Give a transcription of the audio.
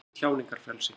Snýst um tjáningarfrelsi